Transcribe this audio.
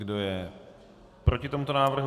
Kdo je proti tomuto návrhu?